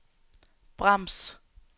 brems